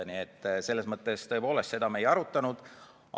Nii et tõepoolest, seda me ei arutanud.